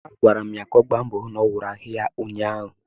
Agwara m ya ka ọ gba mbọ hụ n'ọwụrụ ahụ ya ụnyaahụ!